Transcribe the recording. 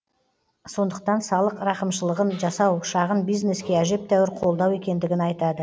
сондықтан салық рақымшылығын жасау шағын бизнеске әжептәуір қолдау екендігін айтады